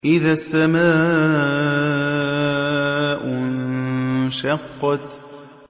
إِذَا السَّمَاءُ انشَقَّتْ